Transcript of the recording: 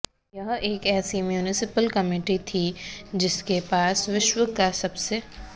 यह एक ऐसी म्यूनिसिपल कमेटी थी जिसके पास विश्व का सबसे